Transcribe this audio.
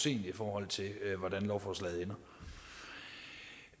i forhold til hvordan lovforslaget ender